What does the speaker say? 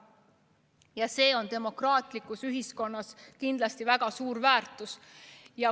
Ja see on demokraatlikus ühiskonnas kindlasti väga suur väärtus.